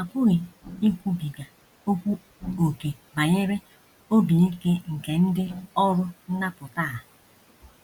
A pụghị ikwubiga okwu ókè banyere obi ike nke ndị ọrụ nnapụta a.